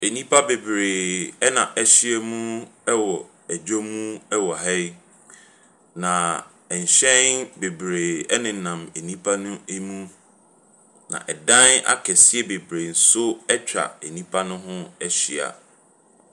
Nnipadɔm bi ne hyɛn bebree wɔ deaeu bi. Na hyɛn ne bi ahosuo yɛ akokɔsradeɛ, ahabanmono ne kɔkɔɔ. Na adan atenten atenten akɛseɛ bi nso sisi no hoa, na nnua bi nso si nehoa.